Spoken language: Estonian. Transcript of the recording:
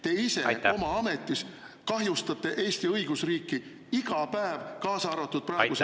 Te ise oma ametis kahjustate Eesti õigusriiki iga päev, kaasa arvatud praegusel hetkel.